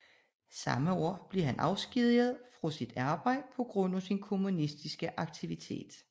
Samme år blev han afskediget fra sit arbejde på grund af sin kommunistiske aktivitet